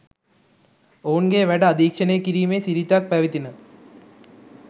ඔවුන්ගේ වැඩ අධීක්ෂණය කිරීමේ සිරිතක් පැවතින